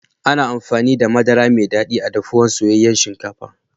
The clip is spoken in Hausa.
Ana amfani da Madara Mai dadi a'dafuwan soyayen shinkafa.